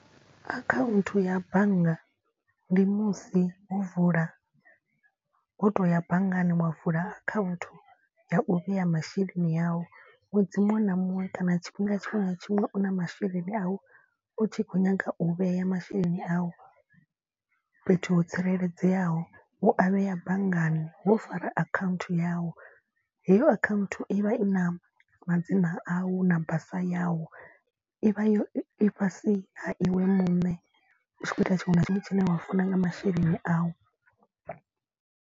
Akhaunthu ya bannga ndi musi wo vula wo to ya banngani wa vula akhaunthu ya u vhea masheleni au. Ṅwedzi muṅwe na muṅwe kana tshifhinga tshiṅwe na tshiṅwe u na masheleni au u tshi khou nyaga u vhea masheleni au. Fhethu ho tsireledzeaho u a vhea banngani wo fara account yau. Heyo account i vha i na madzina au na basa yau i vha yo i fhasi ha iwe muṋe. U tshi khou ita tshiṅwe na tshiṅwe tshine wa funa nga masheleni awu.